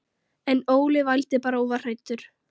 En Óli vældi bara og var hræddur.